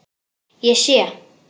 Ég sé.